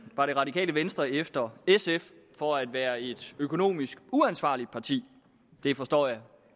var det radikale venstre efter sf for at være et økonomisk uansvarligt parti det forstår jeg